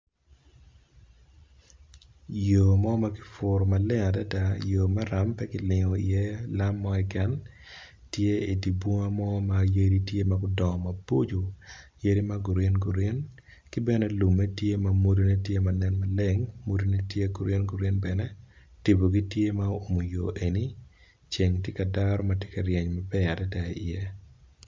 Yo mo makiputo maleng adada yo maram pe kilingo i ye lalam mo keken tye i dibunga mo mayadi tye magudongo maboco yadi magreen green kibene lume tye ma mwodo ne tye manen maleng mwodo ne tye green green bene tipo gitye ma owumo yo eni ceng tye ka daro matye ka ryeny maber adada i ye.